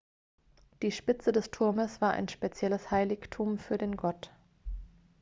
die spitze des turmes war ein spezielles heiligtum für den gott